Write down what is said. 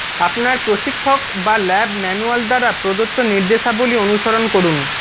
আপনার প্রশিক্ষক বা ল্যাব ম্যানুয়াল দ্বারা প্রদত্ত নির্দেশাবলী অনুসরণ করুন